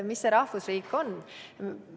Mis see rahvusriik on?